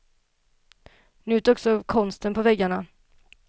Njut också av konsten på väggarna.